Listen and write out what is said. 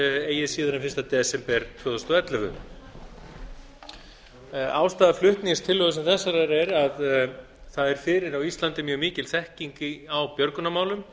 eigi síðar en fyrsta desember tvö þúsund og ellefu ástæða flutnings tillögu sem þessarar er að það er fyrir á íslandi mikil þekking á björgunarmálum